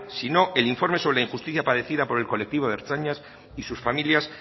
sino el informe sobre la injusticia padecida por el colectivo de ertzainas y sus familias